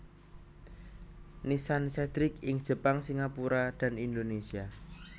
Nissan Cedric ing Jepang Singapura dan Indonesia